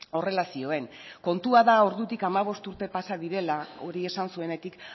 horrela zioen kontua da ordutik hamabost urte pasa direla hori esan zuenetik